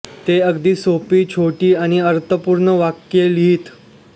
ते अगदी सोपी छोटी आणि अर्थपूर्ण वाक्ये लिहीत